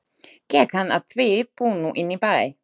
Gekk hann að því búnu inn í bæ.